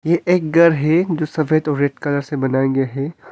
ये एक घर है जो सफेद और रेड कलर से बना गया है।